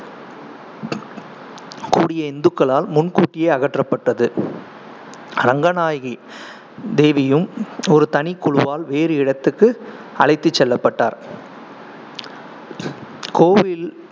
கூடிய இந்துக்களால் முன்கூட்டியே அகற்றப்பட்டது. ரங்கநாயகி தேவியும் ஒரு தனி குழுவால் வேறு இடத்துக்கு அழைத்துச் செல்லப்பட்டார் கோயில்